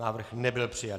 Návrh nebyl přijat.